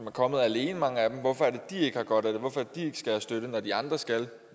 er kommet alene ikke har godt af det hvorfor er det de ikke skal have støtte når de andre skal